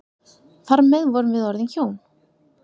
Þar með vorum við orðin hjón.